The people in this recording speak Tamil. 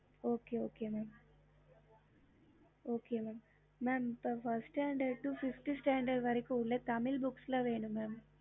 okey mam அவ்ளோதா ம இருக்கும் mam first standard five standard Tamil book வேணும்